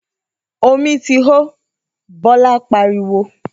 ‘Omi ti hó!’, Bó̩lá pariwo